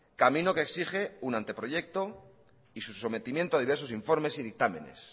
camino que exige un anteproyecto y su sometimiento a diversos informes y dictámenes